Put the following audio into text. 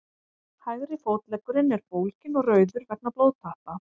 hægri fótleggurinn er bólginn og rauður vegna blóðtappa